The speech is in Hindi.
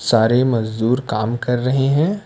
सारे मजदूर काम कर रहे हैं।